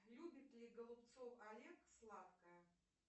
любит ли голубцов олег сладкое